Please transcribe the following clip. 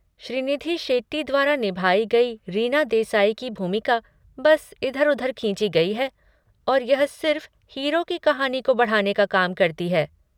श्रीनिधि शेट्टी द्वारा निभाई गई रीना देसाई की भूमिका बस इधर उधर खींची गई है और यह सिर्फ हीरो की कहानी को बढ़ाने का काम करती है।